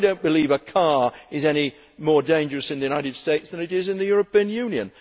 I do not believe that a car is any more dangerous in the United States than it is in the European Union.